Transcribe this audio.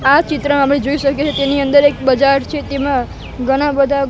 આ ચિત્ર અમે જોઇ શકીએ છે તેની અંદર એક બજાર છે તેમા ઘણા બધા--